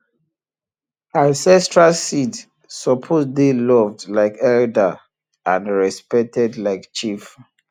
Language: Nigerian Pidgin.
ancestral seed suppose dey loved like elder and respected like chief